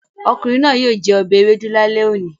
Ọ̀kùnrin náà yíò jẹ obẹ̀ èwédú làlé ọ̀ní.